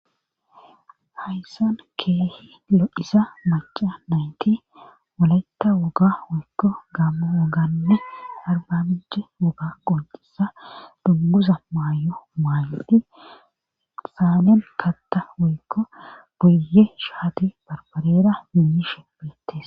Hayssan keehi lo7isa maca nayti woletta woga wuykko gaamma woganne arbabije woga qoncisa dugguza maay7o maayodhi saamen katta wuykko boyye shaati barbarera niishe beettes.